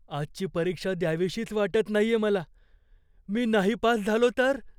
आजची परीक्षा द्यावीशीच वाटत नाहीये मला. मी नाही पास झालो तर?